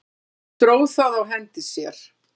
Hún dró það á hendi sér.